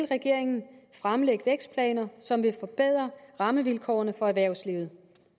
regeringen fremlægge vækstplaner som vil forbedre rammevilkårene for erhvervslivet